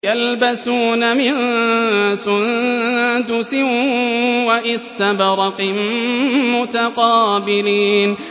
يَلْبَسُونَ مِن سُندُسٍ وَإِسْتَبْرَقٍ مُّتَقَابِلِينَ